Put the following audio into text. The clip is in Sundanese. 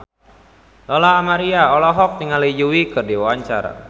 Lola Amaria olohok ningali Yui keur diwawancara